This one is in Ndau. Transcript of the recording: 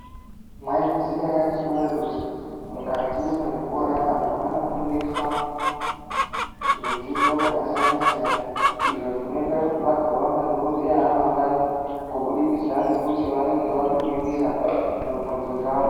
Mwaizviziya ere akhiti wee kuti mukati mwezvikora vanthu vanofundiswa zvidzidzo zvakasiyanasiyana izvo zvinoita kuthi vazoita madhokodheya amangwani kudikidza ngekuthi vanonge vabudirira mubvunzo dzavo.